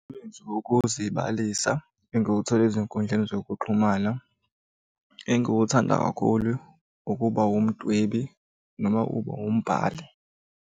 Umsebenzi wokuzibalisa engiwuthole ey'nkundleni zokuxhumana engiwuthanda kakhulu ukuba umdwebi noma ube wumbhali.